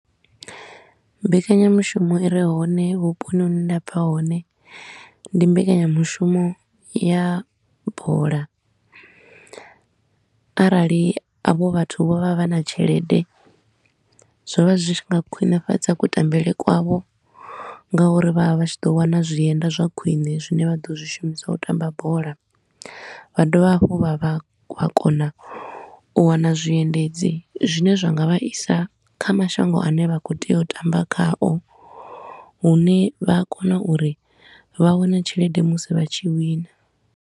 Mbekanyamushumo i re hone vhuponi hune nda bva hone, ndi mbekanyamushumo ya bola. Arali avho vhathu vho vha vha na tshelede, zwo vha zwi tshi nga khwinifhadza kutambele kwavho nga uri vho vha vha tshi ḓo wana zwienda zwa khwine zwine vha ḓo zwi shumiswa u tamba bola. Vha dovha hafhu vha vha vha kona u wana zwiendedzi zwine zwa nga vha isa kha mashango a ne vha khou tea u tamba khao, hune vha a kona uri vha wane tshelede musi vha tshi wina.